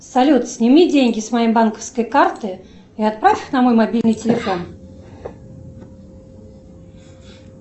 салют сними деньги с моей банковской карты и отправь их на мой мобильный телефон